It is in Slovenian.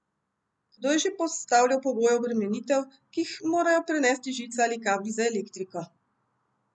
Kdo je že postavljal pogoje obremenitev, ki jih morajo prenesti žice ali kabli za elektriko?